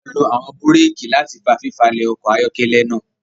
A lo awọn bùréèki láti fà fifalẹ ọkọ ayọkẹlẹ náà